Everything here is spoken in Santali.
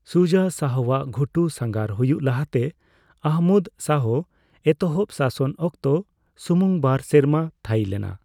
ᱥᱩᱡᱟ ᱥᱟᱦᱚᱣᱟᱜ ᱜᱷᱩᱴᱩ ᱥᱟᱸᱜᱷᱟᱨ ᱦᱩᱭᱩᱜ ᱞᱟᱦᱟᱛᱮ ᱢᱟᱦᱢᱩᱫ ᱥᱟᱦᱚ ᱮᱛᱚᱦᱚᱵ ᱥᱟᱥᱚᱱ ᱚᱠᱛᱚ ᱥᱩᱢᱩᱝ ᱵᱟᱨ ᱥᱮᱨᱢᱟ ᱛᱷᱟᱭᱤ ᱞᱮᱱᱟ ᱾